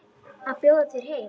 Að bjóða þér heim.